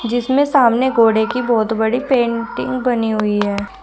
जिसमें सामने घोड़े की बहोत बड़ी पेंटिंग बनी हुई है।